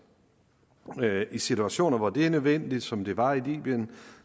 i situationer hvor det er nødvendigt som det var i libyen